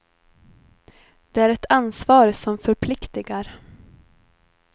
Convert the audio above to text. Det är ett ansvar som förpliktigar.